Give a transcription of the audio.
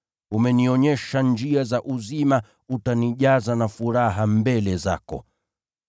Umenionyesha njia za uzima, utanijaza na furaha mbele zako.’